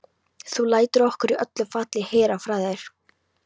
Þú lætur okkur í öllu falli heyra frá þér.